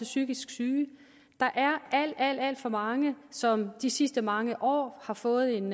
psykisk syge der er alt alt for mange som de sidste mange år har fået en